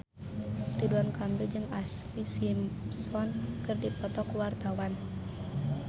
Ridwan Kamil jeung Ashlee Simpson keur dipoto ku wartawan